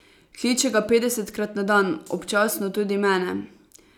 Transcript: Kliče ga petdesetkrat na dan, občasno tudi mene.